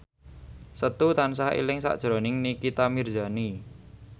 Setu tansah eling sakjroning Nikita Mirzani